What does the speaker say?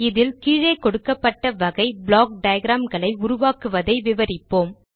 இதில் கீழே கொடுக்கப்பட்ட வகை ப்ளாக் டயாகிராம் களை உருவாக்குவதை விவரிப்போம்